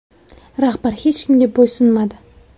Rahbar hech kimga bo‘ysunmadi.